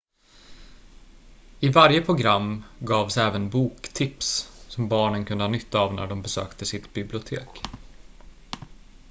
i varje program gavs även boktips som barnen kunde ha nytta av när de besökte sitt bibliotek